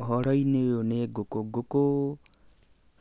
Ũhoro-inĩ ũyũ nĩ ngũkũ. Ngũkũ